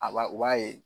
A b'a u b'a ye